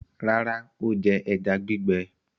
Rárá, ó jẹ ẹja gbígbẹ.